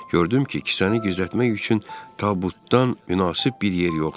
Gördüm ki, kisəni gizlətmək üçün tabutdan münasib bir yer yoxdur.